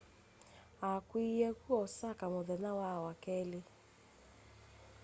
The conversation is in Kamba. akw'iiie ku osaka muthenya wa wakeli